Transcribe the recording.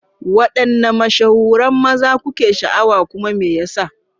Wadanne mashahuran maza kuke sha'awar kuma me yasa?